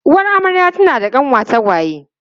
Uwar amarya tana da kanwa tagwaye.